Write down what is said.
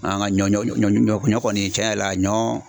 An ka ɲɔ ɲɔ kɔni tiɲɛ yɛrɛ la ɲɔ